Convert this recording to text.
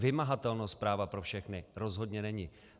Vymahatelnost práva pro všechny rozhodně není.